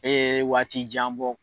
Ee waati jan bɔ